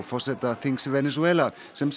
forseta þings Venesúela sem